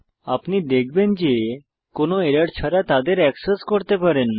আপনি দেখবেন যে কোনো এরর ছাড়া তাদের এক্সেস করতে পারেন